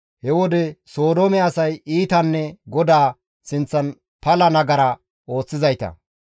He wode Sodoome asay iitanne GODAA sinththan pala nagara ooththizayta.